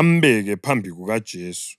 ambeke phambi kukaJesu.